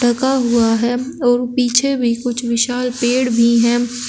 लगा हुआ है और पीछे भी कुछ विशाल पेड़ भी है।